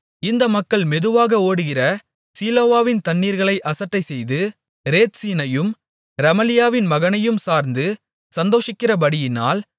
இந்த மக்கள் மெதுவாக ஓடுகிற சீலோவாவின் தண்ணீர்களை அசட்டைசெய்து ரேத்சீனையும் ரெமலியாவின் மகனையும் சார்ந்து சந்தோஷிக்கிறபடியினால்